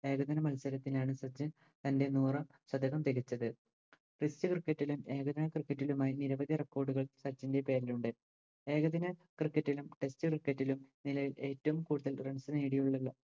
ഏകദിന മത്സരത്തിനാണ് സച്ചിൻ തൻറെ നൂറാം പതകം പിടിച്ചത് Test cricket ലും ഏകദിന Cricket ലുമായി നിരവധി Record കൾ സച്ചിൻറെ പേരിലുണ്ട് ഏകദിന Cricket നും Test cricket നും നിലവിൽ ഏറ്റവും കൂടുതൽ Runs നേടിയതിനുള്ള